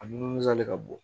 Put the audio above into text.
A nun salen ka bɔ